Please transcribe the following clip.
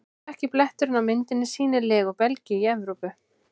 Dökki bletturinn á myndinni sýnir legu Belgíu í Evrópu.